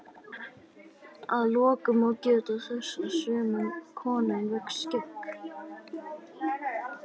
Að lokum má geta þess að sumum konum vex skegg.